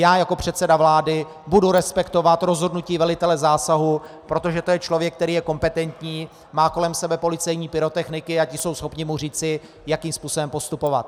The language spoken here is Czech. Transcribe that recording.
Já jako předseda vlády budu respektovat rozhodnutí velitele zásahu, protože to je člověk, který je kompetentní, má kolem sebe policejní pyrotechniky a ti jsou schopni mu říci, jakým způsobem postupovat.